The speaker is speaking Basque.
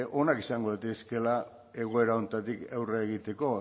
onak izan daitezkeela egoera honetatik aurre egiteko